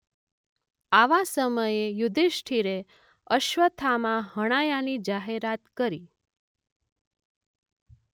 આવા સમયે યુધીષ્ઠિરે અશ્વસ્થામા હણાયાની જાહેરાત કરી.